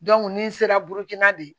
ni n sera bukina de